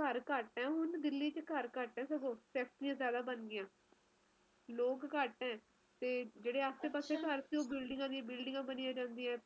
ਘਰ ਘਟ ਹੈ ਦਿੱਲੀ ਚ ਘਰ ਘਟ ਹੈ ਫੈਕਟਰੀਆਂ ਜ਼ਿਆਦਾ ਬਣ ਗਈਆ ਲੋਕ ਘਟ ਹੈ ਤੇ ਜਿਹੜੇ ਪਹਿਲਾ ਘਰ ਹੁੰਦੇ ਸੀ ਉਹ ਬਿਲਡਿੰਗਾਂ ਆ ਦੀਆ ਬਿਲਡਿੰਗਾਂ ਬਣਿਆ ਜਾਂਦੀਆਂ